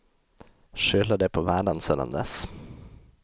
Skyller det på världen sedan dess.